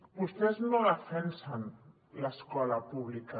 vostès no defensen l’escola pública